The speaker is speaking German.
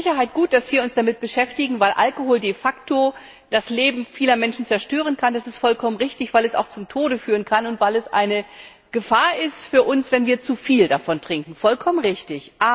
Es ist mit Sicherheit gut, dass wir uns damit beschäftigen, weil Alkohol de facto das Leben vieler Menschen zerstören kann das ist vollkommen richtig weil er auch zum Tode führen kann und weil es eine Gefahr für uns ist, wenn wir zu viel davon trinken vollkommen richtig.